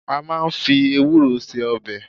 A máà ń fi ewúro se ọbẹ̀